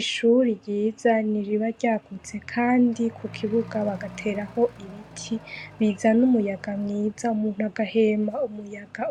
Ishure ryiza ni iri a ryagutse kandi mukibuga bagateraho ibiti bizana umuyaga